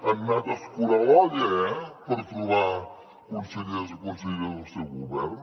han anat a escurar l’olla eh per trobar consellers i conselleres per al seu govern